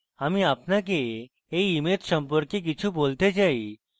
আমি আপনাকে এই image সম্পর্কে কিছু বলতে চাই